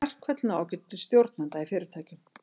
Verkföll ná ekki til stjórnenda í fyrirtækjum.